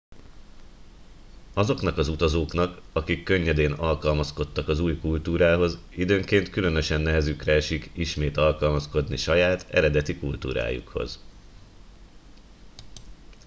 azoknak az utazóknak akik könnyedén alkalmazkodtak az új kultúrához időnként különösen nehezükre esik ismét alkalmazkodni saját eredeti kultúrájukhoz